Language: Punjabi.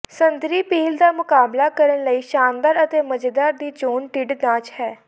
ਸੰਤਰੀ ਪੀਲ ਦਾ ਮੁਕਾਬਲਾ ਕਰਨ ਲਈ ਸ਼ਾਨਦਾਰ ਅਤੇ ਮਜ਼ੇਦਾਰ ਦੀ ਚੋਣ ਢਿੱਡ ਨਾਚ ਹੈ